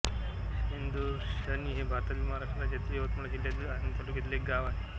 शेंदुरशनी हे भारतातील महाराष्ट्र राज्यातील यवतमाळ जिल्ह्यातील आर्णी तालुक्यातील एक गाव आहे